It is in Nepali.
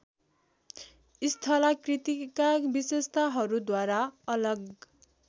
स्थलाकृतिका विशेषताहरूद्वारा अलग